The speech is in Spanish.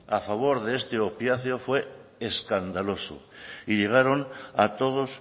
a favor de este opiáceo fue escandaloso y llegaron a todos